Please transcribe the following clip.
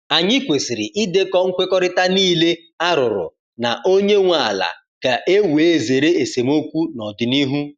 Anyị kwesịrị idekọ nkwekọrịta niile a rụrụ na onye nwe ala ka e wee zere esemokwu n’ọdịnihu.